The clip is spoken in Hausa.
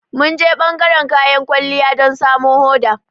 Mun je ɓangaran kayan kwalliya don samo hoda.